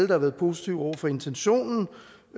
har været positive over for intentionen